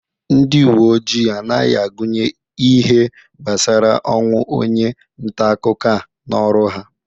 Ndi uwe ojii anghị agụnye ihe gbasara ọnwụ onye ntaakụkọ a n'ọrụ ha.